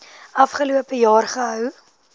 afgelope jaar gehou